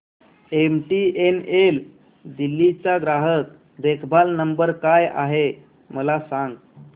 MTNL Delhi चा ग्राहक देखभाल नंबर काय आहे मला सांग